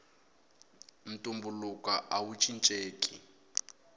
ntumbuluko awu cincenki